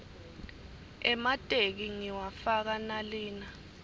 emateki ngiwafaka nalina